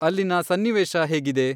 ಅಲ್ಲಿನ ಸನ್ನಿವೇಶ ಹೇಗಿದೆ ?